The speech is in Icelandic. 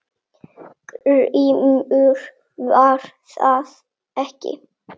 GRÍMUR: Var það ekki!